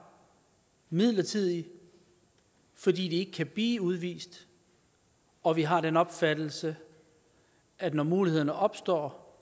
midlertidigt fordi de ikke kan blive udvist og vi har den opfattelse at når muligheden opstår